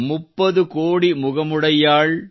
ಮುಪ್ಪದು ಕೋಡಿ ಮುಗಮುಡಯ್ಯಾಳ್